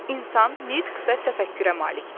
İnsan nitq və təfəkkürə malikdir.